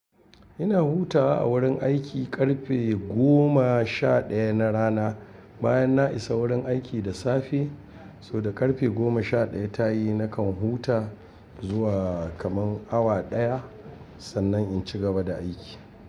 Ina hutawa a wurin aiki ƙarfe goma sha ɗaya na rana bayan na isa wurin aiki da safe. So da ƙarfe goma sha ɗaya ta yi nakan huta zuwa kaman awa ɗaya, sannan in cigaba da aiki.